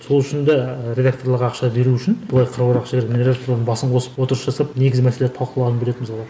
сол үшін де редакторларға ақша беру үшін былай қыруар ақша беріп редекторлардың басын қосып отырыс жасап негізгі мәселелерді талқылағым келеді мысалға